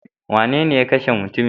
Wanene ya kashe mutumin?